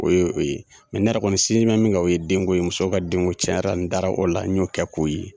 O ye o ye ne yɛrɛ kɔni sinzin mɛ min o ye denko ye musow ka denko cɛn yɛrɛ la n dara o la n y'o kɛ k'o ye.